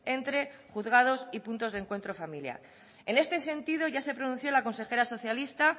entre los juzgados y los puntos de encuentro familiar en este sentido ya se pronunció la consejera socialista